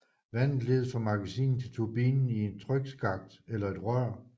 Vandet ledes fra magasinet til turbinen i en trykskakt eller et rør